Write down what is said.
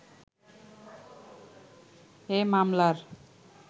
এ মামলার